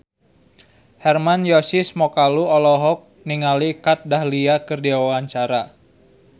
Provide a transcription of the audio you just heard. Hermann Josis Mokalu olohok ningali Kat Dahlia keur diwawancara